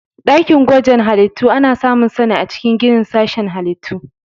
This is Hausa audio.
Dakin gwaje-gwajen halittu ana samunsa a cikin ginin sashen Halittu.